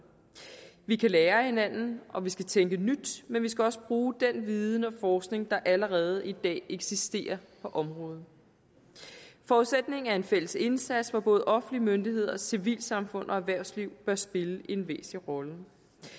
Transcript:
vi kan lære af hinanden og vi skal tænke nyt men vi skal også bruge den viden og forskning der allerede i dag eksisterer på området forudsætningen er en fælles indsats hvor både offentlige myndigheder civilsamfund og erhvervsliv bør spille en væsentlig rolle